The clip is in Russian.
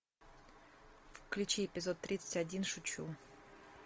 включи эпизод тридцать один шучу